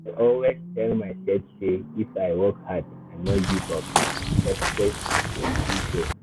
i dey always tell myself say if i work hard and no give up success go still show.